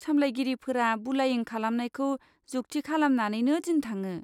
सामलायगिरिफोरा बुलायिं खालामनायखौ जुख्थि खालामनानैनो दिन थाङो।